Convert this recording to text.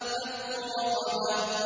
فَكُّ رَقَبَةٍ